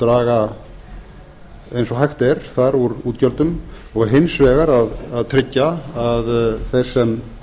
draga eins og hægt er úr útgjöldum og hins vegar að tryggja að þeir sem